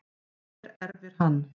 Hver erfir hann?